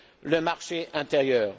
le marché intérieur.